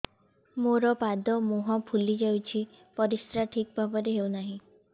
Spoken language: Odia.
ମୋର ପାଦ ମୁହଁ ଫୁଲି ଯାଉଛି ପରିସ୍ରା ଠିକ୍ ଭାବରେ ହେଉନାହିଁ